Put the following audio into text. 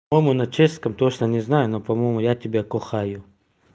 по-моему на чешском точно не знаю но по-моему я тебе кохаю